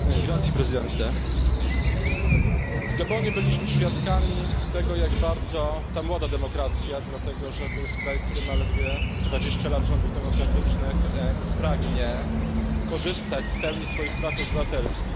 Panie Przewodniczący! W Gabonie byliśmy świadkami tego, jak bardzo ta młoda demokracja dlatego że to jest kraj, który ma ledwie dwadzieścia lat rządów demokratycznych pragnie korzystać z pełni swoich praw obywatelskich.